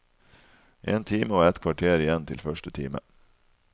En time og et kvarter igjen til første time.